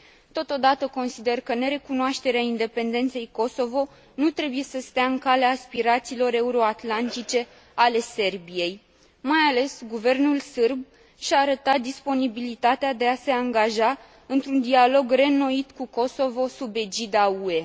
Totodată, consider că nerecunoașterea independenței Kosovo nu trebuie să stea în calea aspirațiilor euroatlantice ale Serbiei. Mai ales, guvernul sârb și a arătat disponibilitatea de a se angaja într un dialog reînnoit cu Kosovo sub egida UE.